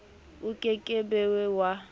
o ke ke be wa